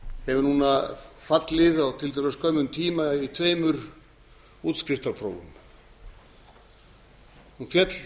hefur núna fallið á tiltölulega skömmum tíma í tveimur útskriftarprófum hún féll